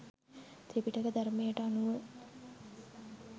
ත්‍රිපිටක ධර්මයට අනුව